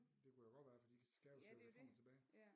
Det kunne jo godt være for de skal jo slæbe det frem og tilbage